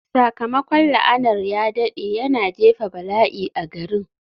Sakamakon la'anar ya daɗe, yana jefa bala'i a garin.